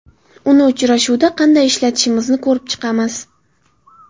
Uni uchrashuvda qanday ishlatishimizni ko‘rib chiqamiz.